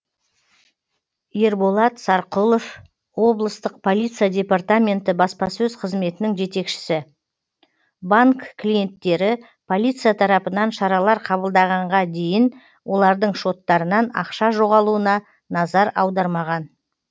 ерболат сарқұлов облыстық полиция департаменті баспасөз қызметінің жетекшісі банк клиенттері полиция тарапынан шаралар қабылданғанға дейін олардың шоттарынан ақша жоғалуына назар аудармаған